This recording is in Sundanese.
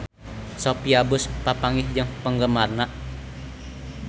Sophia Bush papanggih jeung penggemarna